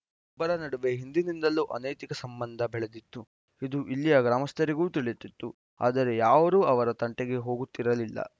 ಇಬ್ಬರ ನಡುವೆ ಹಿಂದಿನಿಂದಲೂ ಅನೈತಿಕ ಸಂಬಂಧ ಬೆಳೆದಿತ್ತು ಇದು ಇಲ್ಲಿಯ ಗ್ರಾಮಸ್ಥರಿಗೂ ತಿಳಿದಿತ್ತು ಆದರೆ ಯಾರೂ ಅವರ ತಂಟೆಗೆ ಹೋಗುತ್ತಿರಲಿಲ್ಲ